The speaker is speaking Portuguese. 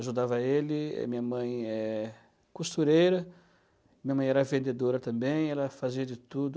Ajudava ele, minha mãe é costureira, minha mãe era vendedora também, ela fazia de tudo.